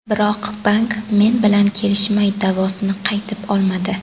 Biroq bank men bilan kelishmay, da’vosini qaytib olmadi.